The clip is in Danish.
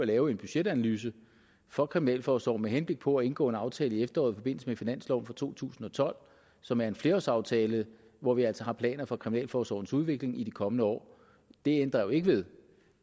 lave en budgetanalyse for kriminalforsorgen med henblik på at indgå en aftale i efteråret i forbindelse med finansloven for to tusind og tolv som er en flerårsaftale hvor vi altså har planer for kriminalforsorgens udvikling i de kommende år det ændrer jo ikke ved